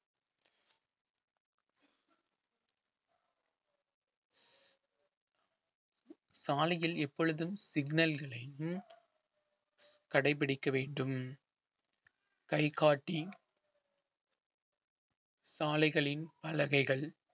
சாலையில் எப்பொழுதும் signal களையும் கடைபிடிக்க வேண்டும் கைகாட்டி சாலைகளின் பலகைகள்